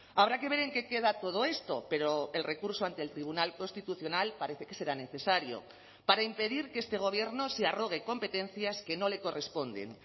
habrá que ver en qué queda todo esto pero el recurso ante el tribunal constitucional parece que será necesario para impedir que este gobierno se arrogue competencias que no le corresponden